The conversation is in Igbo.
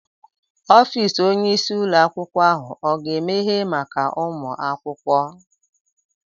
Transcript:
Ọfịs Onye isi ụlọ akwụkwọ ahụ oga emehe maka ụmụ akwụkwọ?